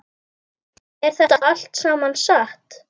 Er þetta allt saman satt?